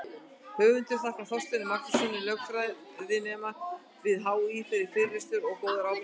Höfundur þakkar Þorsteini Magnússyni, lögfræðinema við HÍ, fyrir yfirlestur og góðar ábendingar.